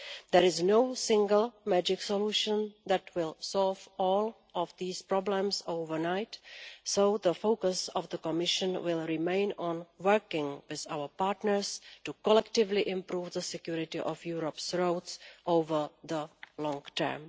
There is no single magic solution that will solve all of these problems overnight, so the focus of the Commission will remain on working with our partners to collectively improve the security of Europe's roads in the long term.